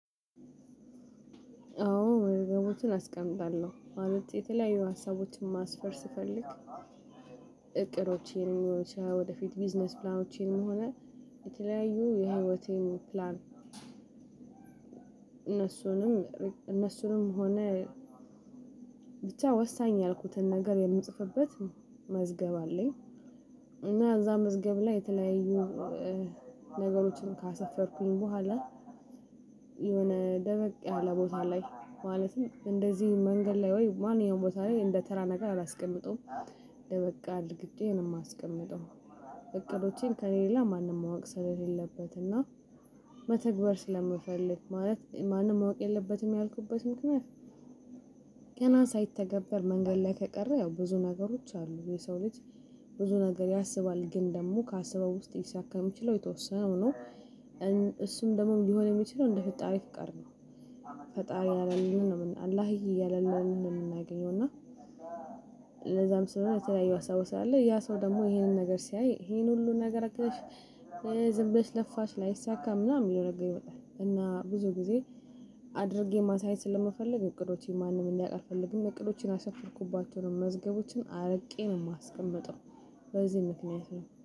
አዎ የገቡትን አስቀምጣለሁ ማለት የተለያዩ ሀሳቦችን ማስፈር ስፈልግ እቅዶቼን ወደፊት ቢዝነስ ፕላኖቼንም ሆነ የተለያዩ የህይወቴን ፕላን እነሱንም እነሱንም ሆነ ብቻ ወሳኝ ያልኩትን ነገር የምጽፍበት መዝገብ አለኝ። እና እዛ መዝገብ ላይ የተለያዩ ነገሮችን ካሰፈርኩኝ በኋላ የሆነ ደበቅ ያለ ቦታ ላይ ማለትም እንደዚህ መንገድ ላይ ወይም ማንኛውም ቦታ ላይ እንደተራ ነገር አላስቀምጠውም ደበቅ አድርጌ ነው የማስቀምጠው። እቅዶቼን ከእኔ ሌላ ማንም ማወቅ ስለሌለበት የ እና መተግበር ስለምፈልግ ማለት ማንም ማወቅ የለበትም ያልኩበት ምክንያት። ገና ሳይተገበር መንገድ ላይ ከቀረ ያው ብዙ ነገሮች አሉ የሰው ልጅ ብዙ ነገር ያስባል ግን ደግሞ ካስበው ውስጥ ሊሳካ የሚችለው የተወሰነው ነው። እሱም ደግሞ ሊሆን የሚችለው እንደፈጣሪ ፍቃድ ነው። ፈጣሪ ያለልን ነው አላህዬ ያለልንን ነው የምናገኘው። እና ለዛም ስለሆነ የተለያዩ ሀሳቦች ስላለ ያ ሰው ደግሞ ይሄንን ነገር ሲያይ ይሄን ሁሉ ነገር አቅደሽ ዝም ብለሽ ለፋሽ ላይሳካ ምናምን የሚለው ነገር ይመጣል። እና ብዙ ጊዜ አድርጌ ማሳየት ስለምፈልግ እቅዶቼን ማንም እንዲያውቅ አልፈልግም። እቅዶችን ያሰፈርኩባቸው መዝገቦችን አርቄ ነው የማስቀምጠው በዚህ ምክንያት ነው